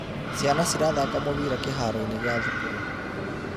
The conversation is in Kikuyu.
Ciana cirathaka mũbira kĩharo-inĩ gĩa thukuru.